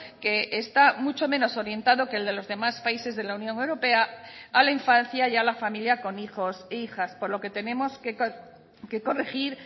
que está mucho menos orientado que el de los demás países de la unión europea a la infancia y a la familia con hijos e hijas por lo que tenemos que corregir